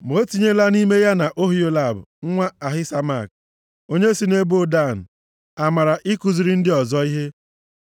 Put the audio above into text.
Ma o tinyela nʼime ya na Oholiab, nwa Ahisamak, onye si nʼebo Dan, amara ikuziri ndị ọzọ ihe.